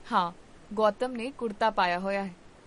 ਹਾਂ, ਗੌਤਮ ਨੇ ਕੁੜਤਾ ਪਾਇਆ ਹੋਇਆ ਹੈ